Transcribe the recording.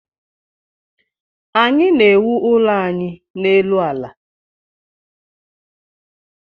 Anyị na-ewu ụlọ anyị n'elu ala